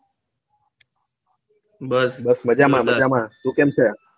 બસ બસ મજામાં મજામાં તું કેમ છે?